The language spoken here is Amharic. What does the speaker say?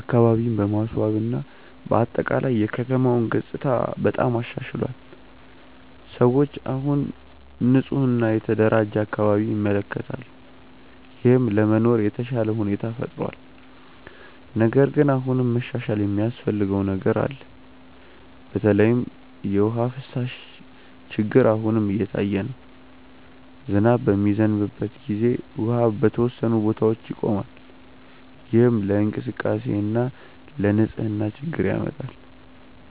አካባቢን በማስዋብ እና በአጠቃላይ የከተማውን ገጽታ በጣም አሻሽሏል። ሰዎች አሁን ንፁህ እና የተደራጀ አካባቢ ይመለከታሉ፣ ይህም ለመኖር የተሻለ ሁኔታ ፈጥሯል። ነገር ግን አሁንም መሻሻል የሚያስፈልገው ነገር አለ። በተለይ የውሃ ፍሳሽ ችግር አሁንም እየታየ ነው። ዝናብ በሚዘንብበት ጊዜ ውሃ በተወሰኑ ቦታዎች ይቆማል፣ ይህም ለእንቅስቃሴ እና ለንፅህና ችግር ያመጣል።